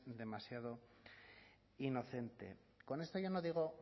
demasiado inocente con esto yo no digo